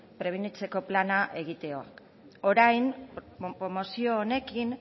prebenitzeko plana egitea orain promozio honekin